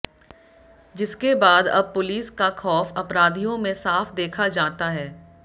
जिसके बाद अब पुलिस का खौफ अपराधियों में साफ देखा जाता है